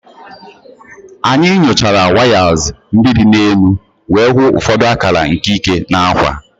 Anyị nyochara wires ndị dị n'elu wee hụ ụfọdụ akara nke ike na akwa.